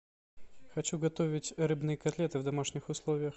хочу готовить рыбные котлеты в домашних условиях